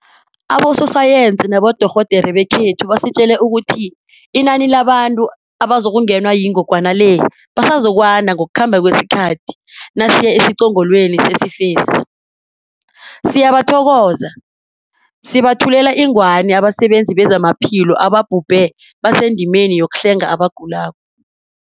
Abososayensi nabodorhodere bekhethu basitjele ukuthi inani labantu abazokungenwa yingogwana le basazokwanda ngokukhamba kwesikhathi nasiya esiqongolweni sesifesi. Siyabathokoza, sibethulela ingwani abasebenzi bezamaphilo ababhubhe basendimeni yokuhlenga abagulako.